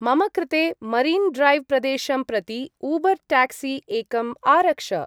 मम कृते मरीन्-ड्रैव्-प्रदेशं प्रति ऊबर्-टाक्सी एकम् आरक्ष।